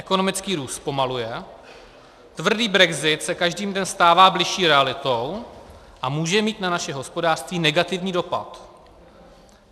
Ekonomický růst zpomaluje, tvrdý brexit se každým dnem stává bližší realitou a může mít na naše hospodářství negativní dopad.